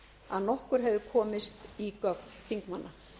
að nokkur hefði komist í gögn þingmanna